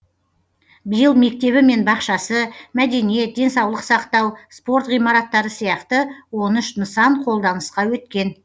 биыл мектебі мен бақшасы мәдениет денсаулық сақтау спорт ғимараттары сияқты он үш нысан қолданысқа өткен